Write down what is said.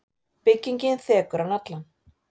Byggingin þekur hann allan.